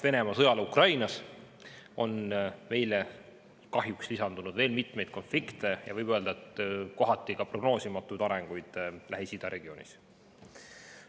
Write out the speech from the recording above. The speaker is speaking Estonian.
Venemaa sõjale Ukrainas on kahjuks lisandunud veel mitmeid konflikte ja võib öelda, et ka kohati prognoosimatu areng Lähis-Ida regioonis.